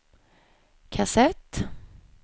kassett